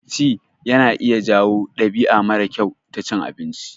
Ci yana iya jawo ɗabi'a mara kyau ta cin abinci.